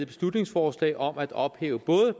beslutningsforslag om at ophæve både